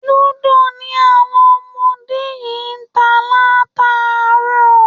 Lúdò ni àwọn ọmọ yìí ń ta látàárọ̀